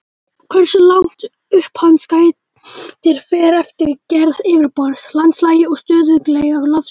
Hversu langt upp hans gætir fer eftir gerð yfirborðs, landslagi og stöðugleika lofsins.